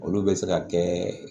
Olu bɛ se ka kɛ